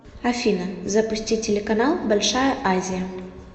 афина запусти телеканал большая азия